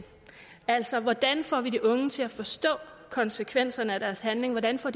altså hvordan får vi de unge til at forstå konsekvenserne af deres handling hvordan får